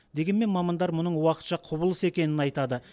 дегенмен мамандар мұның уақытша құбылыс екенін айтады